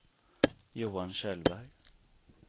Johan Kjellberg